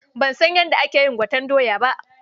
Ban san yadda ake yin gwaten doya ba.